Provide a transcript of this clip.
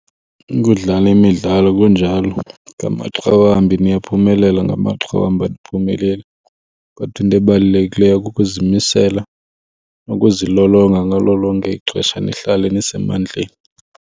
Ukudlala imidlalo kunjalo, ngamaxa wambi niyaphumelela ngamaxa wambi aniphumeleli. Kodwa into ebalulekileyo kukuzimisela nokuzilolonga ngalo lonke ixesha nihlale nisemandleni.